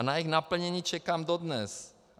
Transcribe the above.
A na jejich naplnění čekám dodnes.